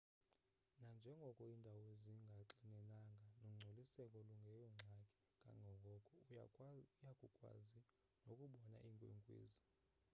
nanjengoko iindawo zingaxinenanga nongcoliseko lungeyongxaki kangoko uya kukwazi nokubona iinkwenkwezi